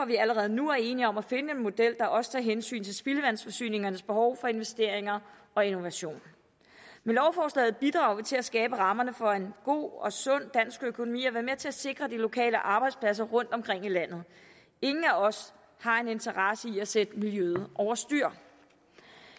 vi allerede nu er enige om at finde en model der også tager hensyn til spildevandsforsyningernes behov for investeringer og innovation med lovforslaget bidrager vi til at skabe rammerne for en god og sund dansk økonomi og er med til at sikre de lokale arbejdspladser rundtomkring i landet ingen af os har en interesse i at sætte miljøet over styr